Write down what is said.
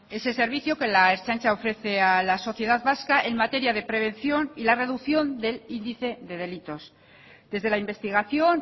ese servicio que la ertzaintza ofrece a la sociedad vasca en materia de prevención y la reducción del índice de delitos desde la investigación